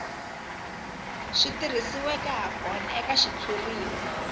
swi tirhisiweke hakona eka xitshuriwa